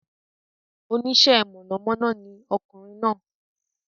Oníṣe mọ̀nà mọ́ná ni ọkùnrin náà